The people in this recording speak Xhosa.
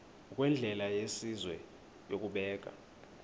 ngokwendlela yesizwe yokubeka